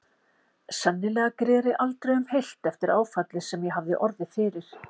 Sennilega greri aldrei um heilt eftir áfallið sem ég hafði orðið fyrir.